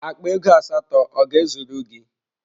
Akpa ego asatọ ọ ga-ezuru gị?